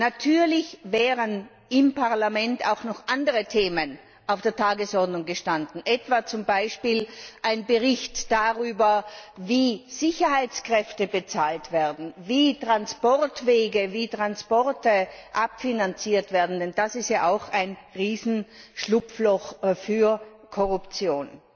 Natürlich wären im Parlament auch noch andere Themen auf der Tagesordnung gestanden, etwa zum Beispiel ein Bericht darüber, wie Sicherheitskräfte bezahlt werden, wie Transportwege, wie Transporte finanziert werden, denn das ist ja auch ein Riesenschlupfloch für Korruption.